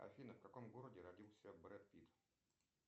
афина в каком городе родился бред питт